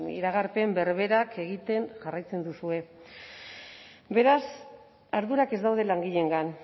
iragarpen berberak egiten jarraitzen duzue beraz ardurak ez daude langileengan